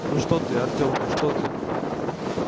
ну что ты артёмка что ты